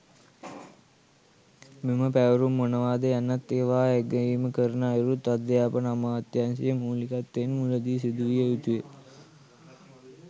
මෙම පැවරුම් මොනවාද යන්නත් ඒවා ඇගයීම කරන අයුරුත් අධ්‍යාපන අමාත්‍යංශයේ මූලිකත්වයෙන් මුලදී සිදුවිය යුතුය.